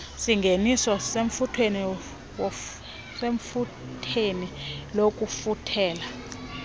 singeniso usethubeni lokufuthela